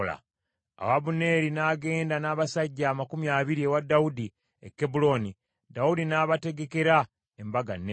Awo Abuneeri n’agenda n’abasajja amakumi abiri ewa Dawudi e Kebbulooni, Dawudi n’abategekera embaga nnene.